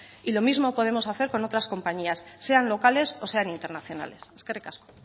lo mismo podemos hacer con otras compañías sean locales o sean internacionales eskerrik asko